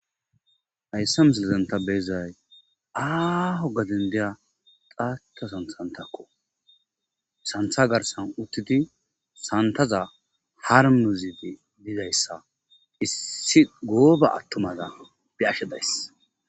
aysse mesilzenta beezay aaho gadan diya xaata sansantakko santha garsan uttidi santaza har muziti bizayssa issi gooba attumada be ashe dayss